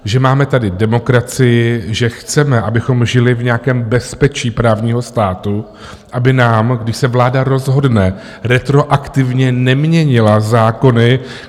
Že máme tady demokracii, že chceme, abychom žili v nějakém bezpečí právního státu, aby nám, když se vláda rozhodne, retroaktivně neměnila zákony.